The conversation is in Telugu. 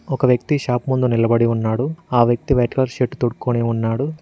ఒక వ్యక్తి షాప్ ముందు నిలబడి ఉన్నాడు ఆ వ్యక్తి వైట్ కలర్ షర్ట్ తోడుకొని ఉన్నాడు.